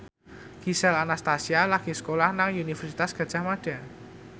Gisel Anastasia lagi sekolah nang Universitas Gadjah Mada